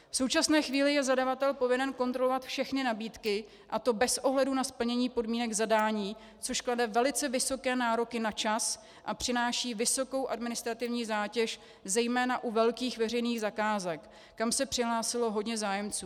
V současné chvíli je zadavatel povinen kontrolovat všechny nabídky, a to bez ohledu na splnění podmínek zadání, což klade velice vysoké nároky na čas a přináší vysokou administrativní zátěž zejména u velkých veřejných zakázek, kam se přihlásilo hodně zájemců.